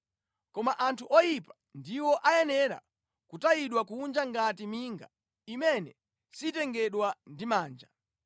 Koma anthu oyipa ndiwo ayenera kutayidwa kunja ngati minga, imene sitengedwa ndi manja.